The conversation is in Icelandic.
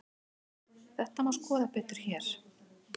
Þetta má skoða betur hér.